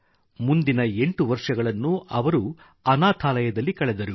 ಮುಂದಿನ 8 ವರ್ಷಗಳನ್ನು ಅವರು ಅನಾಥಾಲಯದಲ್ಲಿ ಕಳೆದರು